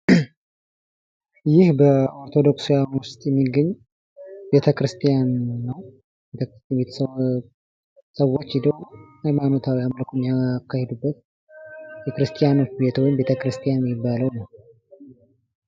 ይህ በኦርቶዶክሳዉያን ዉስጥ የሚገኝ ቤተ-ክርስቲያን ነው። ሰውች ሂደው ሀይማኖታዊ ነገሮችን የሚያካሂዱበት የክርስቲያን ቤተ-ክርስቲያን የሚባለው ነው።